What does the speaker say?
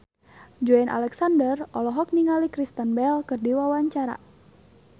Joey Alexander olohok ningali Kristen Bell keur diwawancara